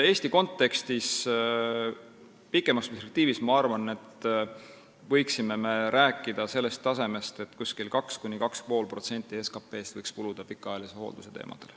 Eesti kontekstis ma pikemas perspektiivis arvan, et me võiksime rääkida sellest tasemest, et 2–2,5% SKT-st võiks kuluda pikaajalise hoolduse teemadele.